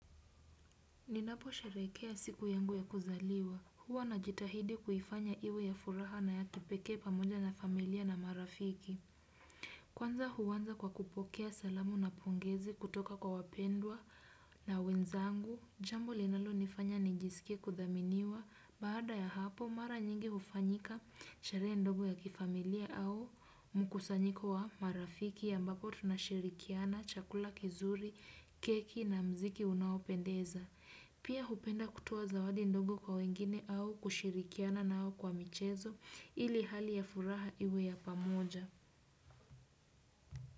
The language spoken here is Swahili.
Ninaposheherekea siku yangu ya kuzaliwa, huwa najitahidi kuhifanya iwe ya furaha na ya kipeke pamoja na familia na marafiki. Kwanza huanza kwa kupokea salamu na pongezi kutoka kwa wapendwa na wenzangu, jambo linalonifanya ni nijiskie kudhaminiwa, baada ya hapo mara nyingi hufanyika sharehe ndogo ya kifamilia au mkusanyiko wa marafiki, ambapo tunashirikiana, chakula kizuri, keki na mziki unaopendeza. Pia hupenda kutoa zawadi ndogo kwa wengine au kushirikiana nao kwa michezo ili hali ya furaha iwe ya pamoja.